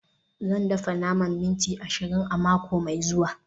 Zan dafa naman minti ashirin a mako mai zuwa